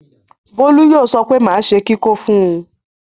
Bólú yóò sọ pé máa ṣe kíkó fún un.